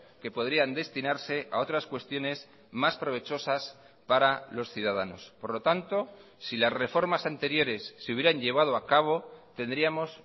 que podrían destinarse a otras cuestiones más provechosas para los ciudadanos por lo tanto si las reformas anteriores se hubieran llevado a cabo tendríamos